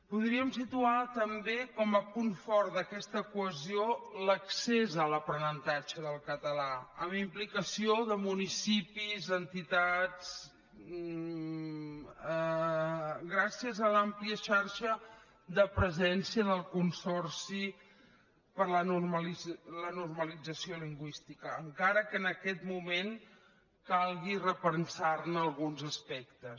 podríem situar també com a punt fort d’aquesta cohesió l’accés a l’aprenentatge del català amb la implicació de municipis entitats gràcies a l’àmplia xarxa de presència del consorci per la normalització lingüística encara que en aquest moment calgui repensar ne alguns aspectes